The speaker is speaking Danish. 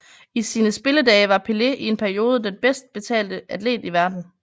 I sine spilledage var Pelé i en periode den bedst betalte atlet i verden